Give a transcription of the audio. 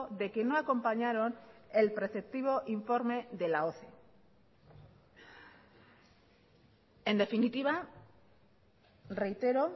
de que no acompañaron el preceptivo informe de la oce en definitiva reitero